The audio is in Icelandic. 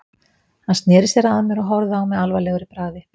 Hann sneri sér að mér og horfði á mig alvarlegur í bragði.